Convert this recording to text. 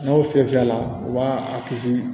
N'aw fiyɛ a la u b'a a kisi